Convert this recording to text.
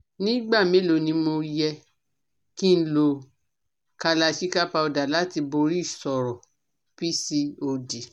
Ní igba mélòó ni mo yẹ kí n lo Kalachikai powder láti bori ìṣòro PCOD?